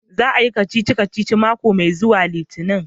Za a Yi kacici-kaci mako mai zuwa litinin.